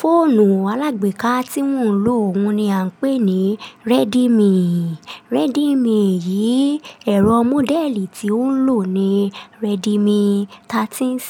Fóònù alágbèéká tí mò ń lò òhun ni à ń pè ní Redmi. Redmi yìí, ẹ̀rọ módẹ́ẹ̀lì tí ó ń lò ní Redmi 13C.